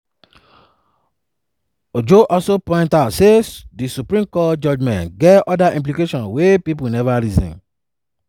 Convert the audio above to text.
ojo also point out say di supreme court judgement get oda implications wey pipo neva reason.